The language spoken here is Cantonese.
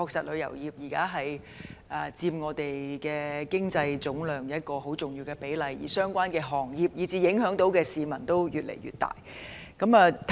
旅遊業現時在香港經濟總值中佔一個重要比例，相關行業及受影響的市民數字越來越多。